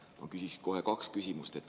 Ma küsin kohe kaks küsimust.